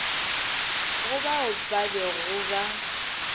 go bao ba bego ba